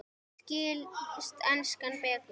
Skilst enskan betur?